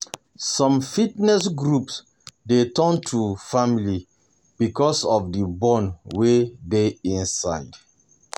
Some fitness groups dey um turn to um family because um of the bond wey dey inside.